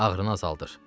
Ağrını azaldır.